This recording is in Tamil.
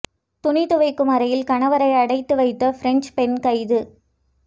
துணி துவைக்கும் அறையில் கணவரை அடைத்து வைத்த பிரெஞ்சுப் பெண் கைது